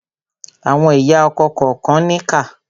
Àwọn ìyá ọkọ kànkan níkà.